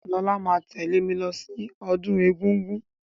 Lọlá máa tẹ̀lẹ́ mí lọ sí ọdún egúngún.